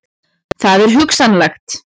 Það er hugsanlegt.